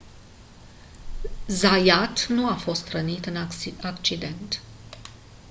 zayat nu a fost rănit în accident